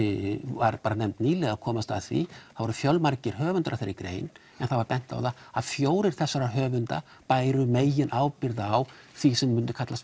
var nefnd nýlega að komast að því það voru fjölmargir höfundar að þeirri grein en það var bent á það að fjórir þessara höfunda bæru meginábyrgð á því sem myndi kallast